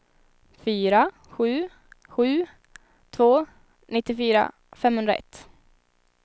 fyra sju sju två nittiofyra femhundraett